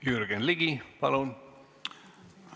Jürgen Ligi, palun!